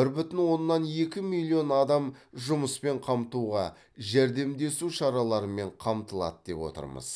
бір бүтін оннан екі миллион адам жұмыспен қамтуға жәрдемдесу шараларымен қамтылады деп отырмыз